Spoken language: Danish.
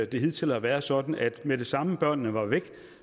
det hidtil har været sådan at med det samme børnene var væk